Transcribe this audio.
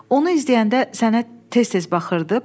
Onu izləyəndə sənə tez-tez baxırdı.